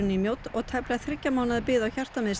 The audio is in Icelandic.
í Mjódd og tæplega þriggja mánaða bið á